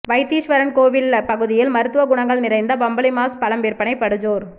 வைத்தீஸ்வரன்கோவில் பகுதியில் மருத்துவ குணங்கள் நிறைந்த பம்பளிமாஸ் பழம் விற்பனை படுஜோர்